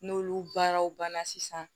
N'olu baaraw banna sisan